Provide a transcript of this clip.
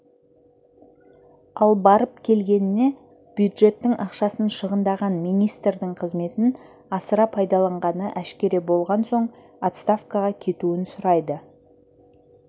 ал барып-келгеніне бюджеттің ақшасын шығындаған министрдің қызметін асыра пайдаланғаны әшкере болған соң отставкаға кетуін сұрайды